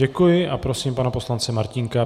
Děkuji a prosím pana poslance Martínka.